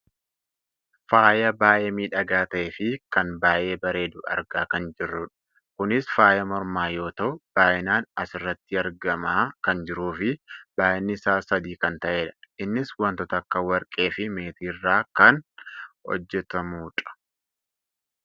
faaya baayyee miidhagaa ta'eefi kan baayyee bareedu argaa kan jirrudha. kunis faaya mormaa yoo ta'u, baayyinaan asirratti argamaa kan jiruufi baayyinni isaa sadi kan ta'edha. innis wantoota akka warqee fi meetii irraa kan hojjatamudha.